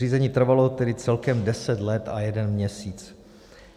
Řízení trvalo tedy celkem 10 let a jeden měsíc.